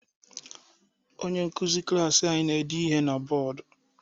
Onye nkuzi klaasị anyi na-ede ihe na bọdụ.